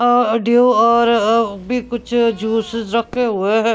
अह अ ड्यू और अ भी कुछ जूसेस रखे हुए हैं ।